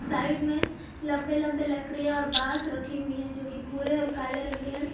Side में लंबे लंबे लकड़ियां और बांस रखी हुई है जो कि भूरे और काले रंग के हैं।